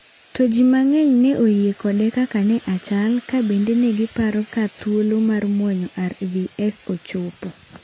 To ji mang'eny ne oyie kode kaka ne achal ka bende ne giparone ka thuolo mar muonyo arvs ochopo.